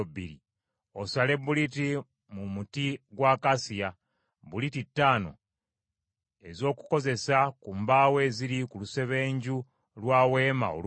“Osale buliti mu muti gwa akasiya: buliti ttaano ez’okukozesa ku mbaawo eziri ku lusebenju lwa Weema olumu,